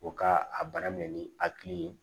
O ka a bana minɛ ni hakili ye